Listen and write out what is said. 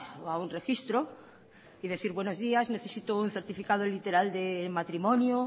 o a un registro y decir buenos días necesito un certifico literal de matrimonio